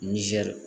Nizɛri